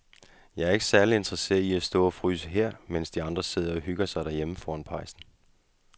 Jeg er ikke særlig interesseret i at stå og fryse her, mens de andre sidder og hygger sig derhjemme foran pejsen.